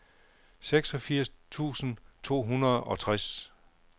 seksogfirs tusind to hundrede og tres